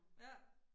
Ja